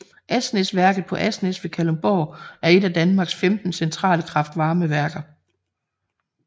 Asnæsværket på Asnæs ved Kalundborg er et af Danmarks 15 centrale kraftvarmeværker